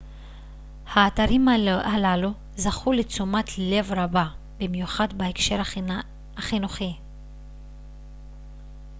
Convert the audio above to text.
האתרים הללו זכו לתשומת לב רבה במיוחד בהקשר החינוכי